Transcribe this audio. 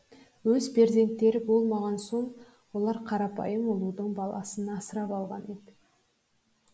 өз перзенттері болмаған соң олар қарапайым ұлудың баласын асырап алған еді